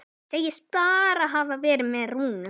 Segist bara hafa verið með Rúnu.